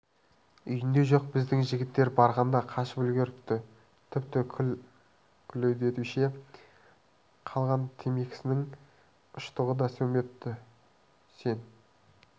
үйінде жоқ біздің жігіттер барғанда қашып үлгеріпті тіпті күлдеуіште қалған темекісінің ұштығы да сөнбепті сен